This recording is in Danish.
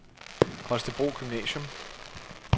Holstebro Gymnasium